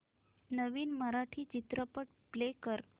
नवीन मराठी चित्रपट प्ले कर